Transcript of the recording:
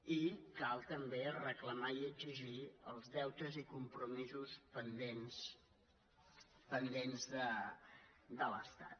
i cal també reclamar i exigir els deutes i compromisos pendents de l’estat